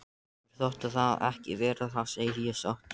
Mér þótti það ekki verra, það segi ég satt.